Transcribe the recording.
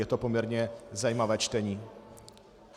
Je to poměrně zajímavé čtení.